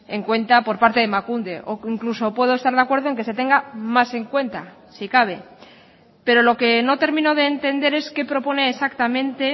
en cuenta por parte de emakunde o incluso puedo estar de acuerdo en que se tenga más en cuenta si cabe pero lo que no termino de entender es qué propone exactamente